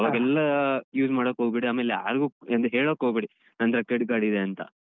ಅವಾಗೆಲ್ಲ use ಮಾಡೋಕೋಗ್ಬೇಡಿ ಆಮೇಲೆ ಯಾರ್ಗು ಎಂತ ಹೇಳೋಕೊಗ್ಬೇಡಿ ನನ್ನತ್ರ credit ಇದೆ ಅಂತ.